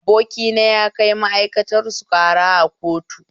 Abokina ya kai ma'aikatarsu ƙara a kotu